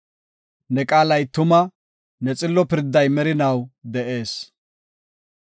Ne qaalay tuma; ne xillo pirday merinaw de7ees.